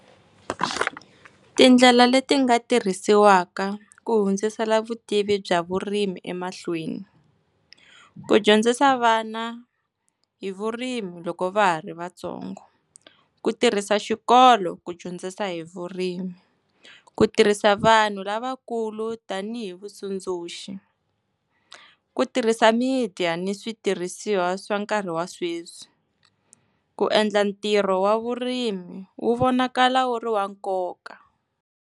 Tindlela leti nga tirhisiwaka ku hundzisela vutivi bya vurimi emahlweni. Ku dyondzisa vana hi vurimi loko va ha ri vatsongo. Ku tirhisa xikolo ku dyondzisa hi vurimi, ku tirhisa vanhu lavakulu tanihi vatsundzuxi, ku tirhisa media ni switirhisiwa swa nkarhi wa sweswi, ku endla ntirho wa vurimi wu vonakala wu ri wa nkoka.